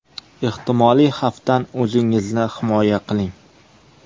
Ehtimoliy xavfdan o‘zingizni himoya qiling.